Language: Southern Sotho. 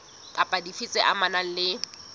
kapa dife tse amanang le